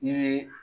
I bɛ